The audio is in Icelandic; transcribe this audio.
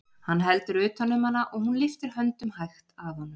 Hann heldur utan um hana og hún lyftir höndum hægt að honum.